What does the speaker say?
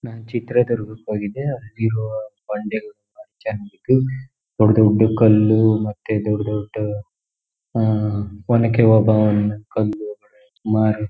ನನ್ ಚಿತ್ರದುರ್ಗ ಕೆ ಹೋಗಿದ್ದೆ ಅಲ್ಲಿ ಇರುವ ಬಂಡೆಗಳು ದೊಡ್ಡ್ ದೊಡ್ಡ್ ಕಲ್ಲು ಮತ್ತೆ ದೊಡ್ಡ್ ದೊಡ್ಡ ಆಹ್ಹ್ಹ್ ಒನಕೆ ಓಬ್ಬವ್ವನ ಕಲ್ಲು ಮಾರಿದ್ --